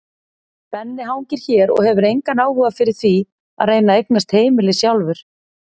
Benni hangir hér og hefur engan áhuga fyrir því að reyna að eignast heimili sjálfur.